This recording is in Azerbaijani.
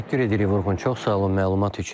Təşəkkür edirik Vurğun, çox sağ olun məlumat üçün.